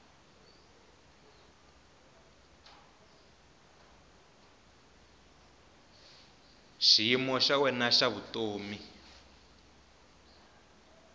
xiyimo xa wena xa vutomi